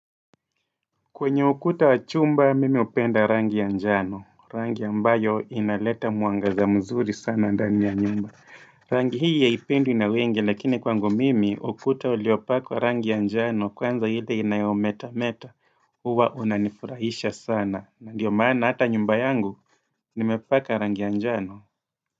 Kwenye ukuta wachumba mimi hupenda rangi ya njano, rangi ambayo inaleta mwangaza mzuri sana ndani ya nyumba. Rangi hii haipendwi na wengi lakini kwangu mimi ukuta uliopakwa rangi ya njano kwanza ile inayometa meta. Huwa unanifurahisha sana na ndiyo maana hata nyumba yangu nimepaka rangi ya njano.